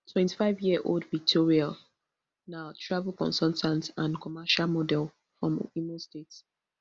twenty-fiveyearold victoria na travel consultant and commercial model from imo state